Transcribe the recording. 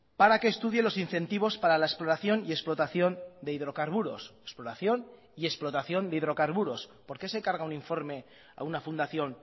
para que estudie los incentivos para la exploración y explotación de hidrocarburos exploración y explotación de hidrocarburos por qué se encarga un informe a una fundación